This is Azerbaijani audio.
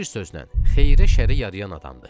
Bir sözlə xeyirə-şərə yarayan adamdır.